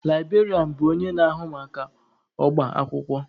Librarianụ bụ onye na-ahụ maka ọba akwụkwọ.